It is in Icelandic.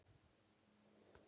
En það er ekki víst.